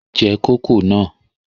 Je kòkó náà!